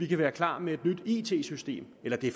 kan være klar med et nyt it system eller det